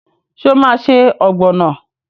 Ṣé o máa se ọ̀gbọ̀nà?